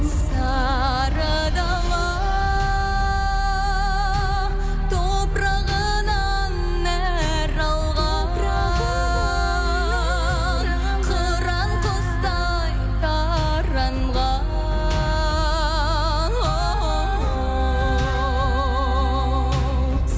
сары дала топырағынан нәр алған қыран құстай таранған оу